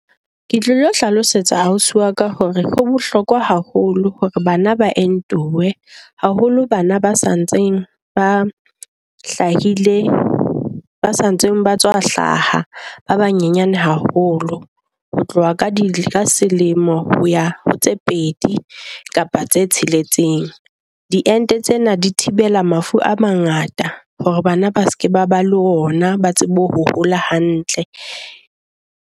Ke tlilo hlalosetsa ausi wa ka hore ho bohlokwa haholo hore bana ba entiwe, haholo bana ba sa ntseng ba hlahile ba sa ntseng ba tswa hlaha ba banyane haholo. Ho tloha ka di ka selemo, ho ya ho tse pedi kapa tse tsheletseng. Diente tsena di thibela mafu a mangata hore bana ba se ke ba ba le ona, ba tsebe ho hola hantle.